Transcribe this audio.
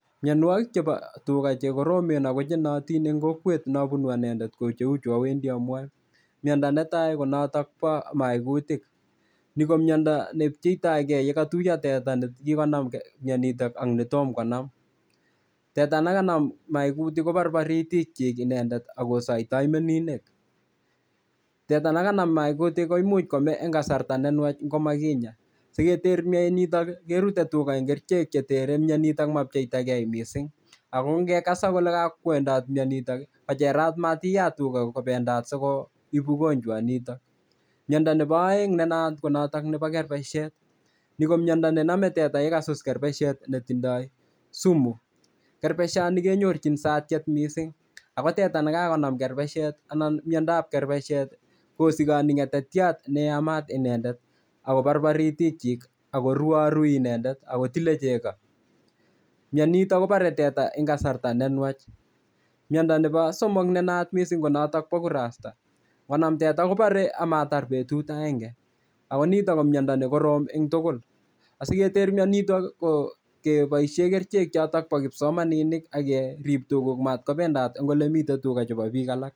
Mionwokik chebo tuga chekoromen ako chenoyotin eng' kokwet nabunu anendet ko cheuchu awendi amwoe miondo netai konotok bo maikutik ni ko miondo nepcheitoigei yekatuiyo teta nekikonam myonitok ak netomkonam teta nekanam maikutik koborbori itikchik inendet akosoitoi meninek teta nekanam maikutik komuch kome eng' kasarta nenwach ngomakinya siketer myonitok kerutei tuga eng' kerichek chetere mionito mapcheitagei mising' ako ngekasak kole kakwendat miyonitok kocherat matiyat tuga kobendat sikoib ugonjwa nito miondo nebo oeng' nenayat ko noto nebo kerbeshet ni ko miondo nenomei teta yekasus kerbeshet netindoi sumu kerbeshani kenyorchin satchet mising' ako teta nekakonam kerbeshet anan miondoab kerbeshet kosikoni ng'etetyat neyamat inendet akobabari itikchik akoruwarui inendet akotilei chego mionito kobarei teta eng' kasarta nenwach miondo nebo somok nenayat mising' ko noto bo kurasta ngonam teta kobarei amatar betut agenge ako nito ko miondo nekorom eng' tugul asiketer mionito ko keboishe kerichek choto bo kipsomaninik akerib tuguk matkobendat eng' ole mitei tuga chebo biik alak